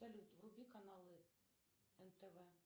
салют вруби каналы нтв